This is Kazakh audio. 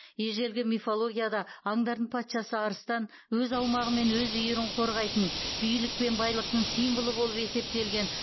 ежелгі мифологияда аңдардың патшасы арыстан өз аумағы мен өз үйірін қорғайтын билік пен байлықтың символы болып есептелген